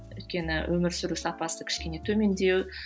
өйткені өмір сүру сапасы кішкене төмендеу